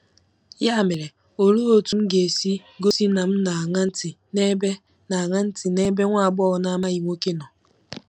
Ya mere, olee otú m ga-esi gosi na m na-aṅa ntị n'ebe na-aṅa ntị n'ebe nwa agbọghọ na-amaghị nwoke nọ?...